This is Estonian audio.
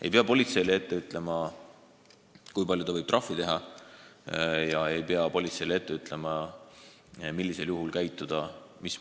Ei pea politseile ette ütlema, kui palju ta võib trahvi teha, ja ei pea politseile ette ütlema, millisel juhul mismoodi käituda.